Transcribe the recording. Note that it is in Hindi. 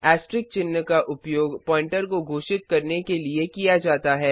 ऐस्ट्रिक चिन्ह का उपयोग प्वॉइंटर को घोषित करने के लिए किया जाता है